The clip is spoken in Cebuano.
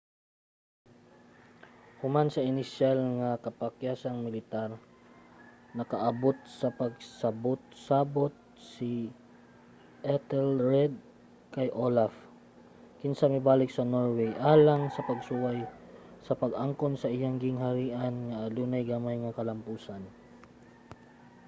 human sa inisyal nga kapakyasang militar nakaabot sa pagsabot-sabot si ethelred kay olaf kinsa mibalik sa norway alang sa pagsuway sa pag-angkon sa iyang gingharian nga adunay gamay nga kalampusan